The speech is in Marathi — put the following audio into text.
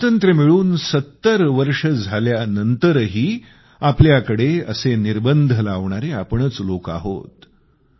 स्वातंत्र्य मिळून 70 वर्षे झाल्यानंतरही आपल्याकडे असे निर्बंध लावणारे आपणच लोक आहोत